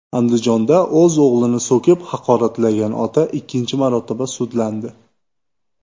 Andijonda o‘z o‘g‘lini so‘kib, haqoratlagan ota ikkinchi marotaba sudlandi.